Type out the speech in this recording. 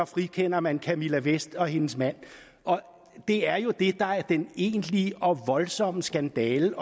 frikender man camilla vest og hendes mand det er jo det der er den egentlige og voldsomme skandale